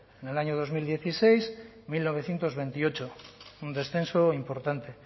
en el año dos mil dieciséis mil novecientos veintiocho un descenso importante